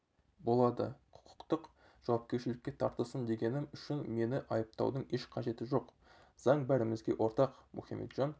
болады құқықтық жауапкершілікке тартылсын дегенім үшін мені айыптаудың еш қажеті жоқ заң бәрімізге ортақ мұхамеджан